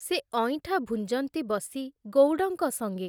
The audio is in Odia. ସେ ଅଇଁଠା ଭୁଞ୍ଜନ୍ତି ବସି ଗଉଡ଼ଙ୍କ ସଙ୍ଗେ ।